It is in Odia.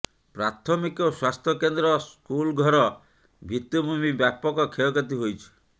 ପ୍ରାଥମିକ ସ୍ୱାସ୍ଥ୍ୟ କେନ୍ଦ୍ର ସ୍କୁଲ୍ଘର ଭିତ୍ତିଭୂମି ବ୍ୟାପକ କ୍ଷୟକ୍ଷତି ହୋଇଛି